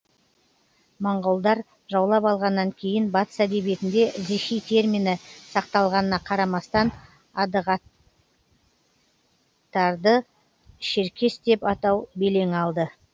моңғолдар жаулап алғаннан кейін батыс әдебиетінде зихи термині сақталғанына қарамастан адығтарды шеркес деп атау белең алды